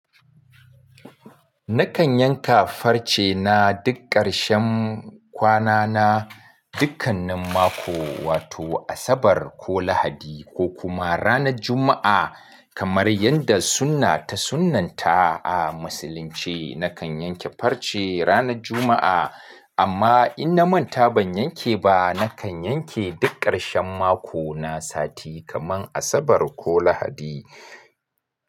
Nakan yanka farce na duk ƙarshen kwana na, dukkanin mako, wato Asabar ko Lahadi ko kuma ranar Juma'a kamar yadda sunna ta sunnanta a musulunci. Nakan yanke farce ranar Juma'a, amma in na manta ban yanke ba, nakan yanke duk ƙarshen mako na sati kamar Asabar ko Lahadi.